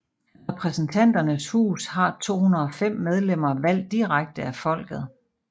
Repræsentanternes hus har 205 medlemmer valgt direkte af folket